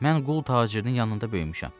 Mən qul tacirinin yanında böyümüşəm.